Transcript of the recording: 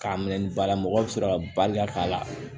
K'a minɛ ni balamɔgɔ bɛ sɔrɔ ka baliya k'a la